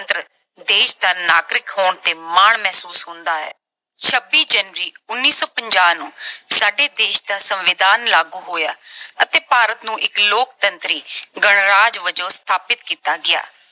ਦੇਸ਼ ਦਾ ਨਾਗਰਿਕ ਹੋਣ ਤੇ ਮਾਣ ਮਹਿਸੂਸ ਹੁੰਦਾ ਹੈ। ਛੱਬੀ january, ਉਨੀ ਸੌ ਪੰਜਾਹ ਨੂੰ ਸਾਡੇ ਦੇਸ਼ ਦਾ ਸੰਵਿਧਾਨ ਲਾਗੂ ਹੋਇਆ ਅਤੇ ਭਾਰਤ ਨੂੰ ਇੱਕ ਲੋਕਤੰਤਰੀ ਗਣਰਾਜ ਵਜੋਂ ਸਥਾਪਤ ਕੀਤਾ ਗਿਆ।